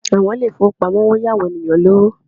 Àwọn ilé ìfowópamọ́ ń yá àwọn ènìyàn lówó